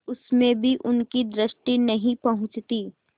उसमें भी उनकी दृष्टि नहीं पहुँचती